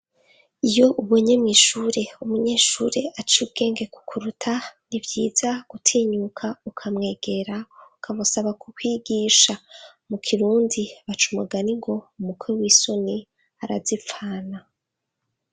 Iyo ubonye mw'ishuri umunyeshuri aciye ubwenge ku kuruta, n'ivyiza gutinyuka ukamwegera, ukamusaba kukwigisha. Mu kirundi baca umugani ngo: "umukwe w'isoni arazipfana."